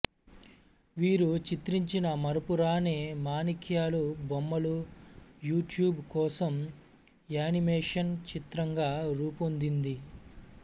వీరు చిత్రించిన మరపురాని మాణిక్యాలు బొమ్మలు యూట్యూబ్ కోసం యానిమేషన్ చిత్రంగా రూపొందింది